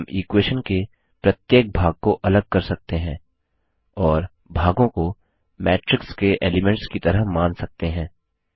हम इक्वेशन के प्रत्येक भाग को अलग कर सकते हैं और भागों को मैट्रिक्स के एलीमेंट्स की तरह मान सकते हैं